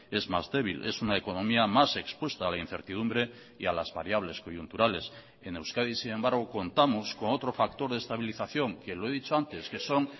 es más débil es una economía más expuesta a la incertidumbre y a las variables coyunturales en euskadi sin embargo contamos con otro factor de estabilización que lo he dicho antes que son